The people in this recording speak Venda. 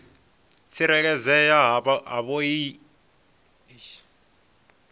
tsireledzea havhoiyi laisentsi i nga